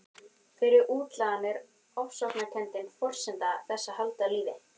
Fyrir útlagann er ofsóknarkenndin forsenda þess að halda lífi.